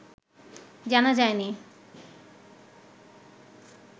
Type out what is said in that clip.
জানা যায়নি